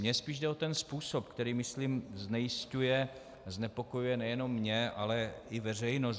Mně spíš jde o ten způsob, který, myslím, znejisťuje, znepokojuje nejenom mě, ale i veřejnost.